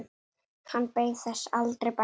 Hann beið þess aldrei bætur.